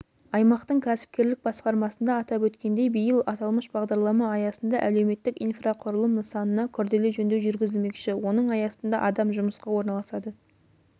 аймақтың кәсіпкерлік басқармасында атап өткендей биыл аталмыш бағдарлама аясында әлеуметтік инфрақұрылым нысанына күрделі жөндеу жүргізілмекші оның аясында адам жұмысқа орналасады